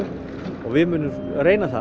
og við munum reyna það